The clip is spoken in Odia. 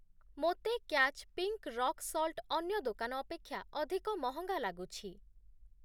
ମୋତେ କ୍ୟାଚ୍‌ ପିଙ୍କ୍ ରକ୍ ସଲ୍ଟ୍ ଅନ୍ୟ ଦୋକାନ ଅପେକ୍ଷା ଅଧିକ ମହଙ୍ଗା ଲାଗୁଛି ।